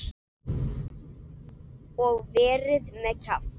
Og verið með kjaft.